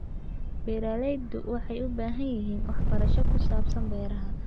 Beeraleydu waxay u baahan yihiin waxbarasho ku saabsan beeraha.